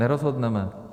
Nerozhodneme.